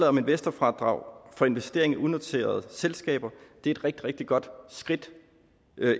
om investorfradrag for investering i unoterede selskaber er et rigtig rigtig godt skridt